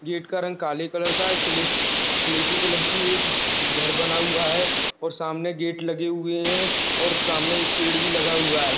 Gate का रंग काले कलर का है स्ले स्लेटी कलर की एक घर बना हुआ है और सामने गेट लगे हुए हे और सामने एक पेड़ भी लगा हुआ है।